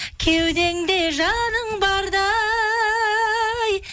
кеудеңде жаның барда